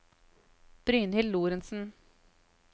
Brynhild Lorentzen